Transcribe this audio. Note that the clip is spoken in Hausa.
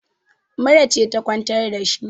mura ce ta kwantar da shi